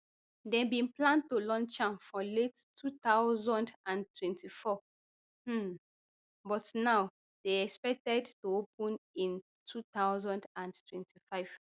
dem bin plan to launch am for late two thousand and twenty-four um but now dey expected to open in two thousand and twenty-five